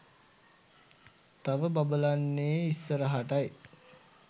තව බබලන්නේ ඉස්සරහටයි